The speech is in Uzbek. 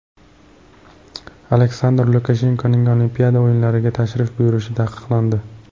Aleksandr Lukashenkoning Olimpiada o‘yinlariga tashrif buyurishi taqiqlandi.